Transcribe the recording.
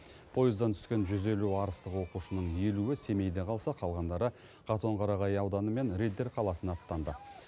пойыздан түскен жүз елу арыстық оқушының елуі семейде қалса қалғандары қатонқарағай ауданы мен риддер қаласына аттанды